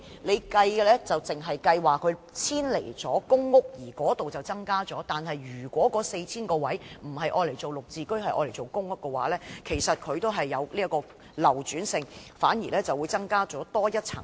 政府只計算遷離公屋的租戶所增加的單位，但如果那 4,000 個單位不用作"綠置居"，改為出租公屋的話，其流轉性反而會有所增加。